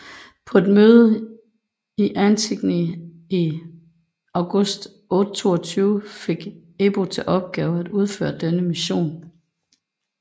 På et møde i Attigny i august 822 fik Ebo til opgave at udføre denne mission